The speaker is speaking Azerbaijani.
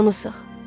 Onu sıx.